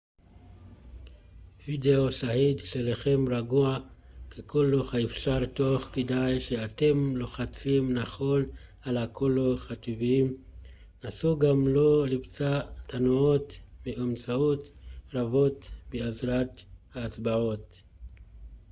וודאו שהיד שלכם רגועה ככל האפשר תוך כדי שאתם לוחצים נכון על כל התווים נסו גם לא לבצע תנועות מאומצות רבות בעזרת האצבעות